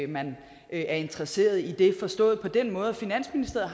man er interesseret i det forstået på den måde at finansministeriet